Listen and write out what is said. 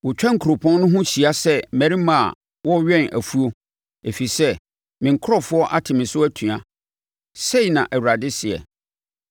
Wɔtwa kuropɔn no ho hyia sɛ mmarima a wɔrewɛn afuo, ɛfiri sɛ me nkurɔfoɔ ate me so atua,’ ” sei na Awurade seɛ.